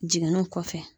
Jiginniw kɔfɛ